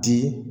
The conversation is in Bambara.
Di